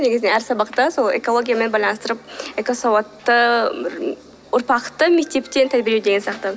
негізінен әр сабақта сол экологиямен байланыстырып экосауатты ұрпақты мектептен тәрбиелеу деген сияқты